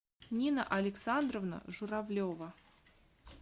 нина александровна журавлева